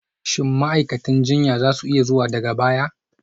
Shin ma'aikatan jinya za su iya zuwa daga baya?